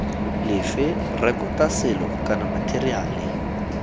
lefe rekota selo kana matheriale